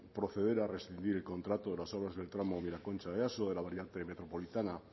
proceder a rescindir el contrato de las obras del tramo miraconcha easo de la variante metropolitana